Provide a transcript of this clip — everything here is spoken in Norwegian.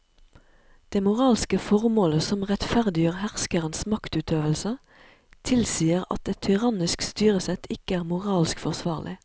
Det moralske formålet som rettferdiggjør herskerens maktutøvelse tilsier at et tyrannisk styresett ikke er moralsk forsvarlig.